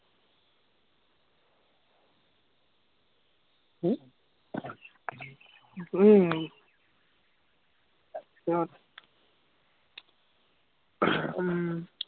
আহ উম তাৰপিচত উম